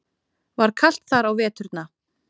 Var kalt þar á veturna?